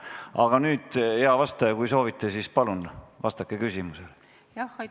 Aga nüüd, hea vastaja, kui soovite, siis palun vastake küsimusele!